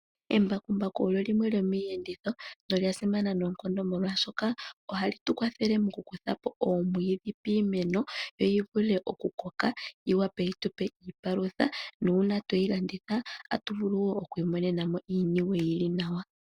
Embakumbaku olyo limwe lyomiiyenditho, nolya simana noonkondo, molwashoka ohali tu kwathele mokukutha po oomwiidhi piimeno, yo yi vule okukoka, yi wape yi tu pe iipalutha, nuuna twe yi landitha, otatu vulu okwiimonena mo iiniwe yi li nawa.